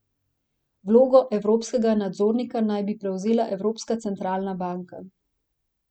Vlogo evropskega nadzornika naj bi prevzela Evropska centralna banka.